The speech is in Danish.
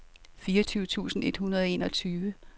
fireogtyve tusind et hundrede og enogtyve